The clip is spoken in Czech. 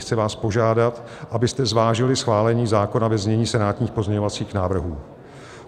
Chci vás požádat, abyste zvážili schválení zákona ve znění senátních pozměňovacích návrhů.